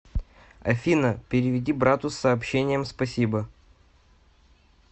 афина переведи брату с сообщением спасибо